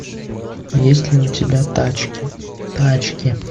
есть ли у тебя тачки тачки